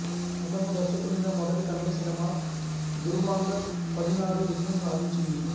అతను దర్శకునిగా మొదటి తమిళ సినిమా దురువాంగల్ పథినారు విజయం సాధించింది